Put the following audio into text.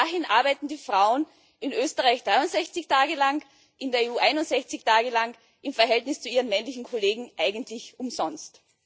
Bis dahin arbeiten die Frauen in Österreich 63 Tage lang, in der EU 61 Tage lang im Verhältnis zu ihren männlichen Kollegen eigentlich umsonst.